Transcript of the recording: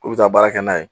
K'u bɛ taa baara kɛ n'a ye